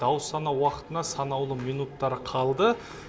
дауыс санау уақытына санаулы минуттар қалды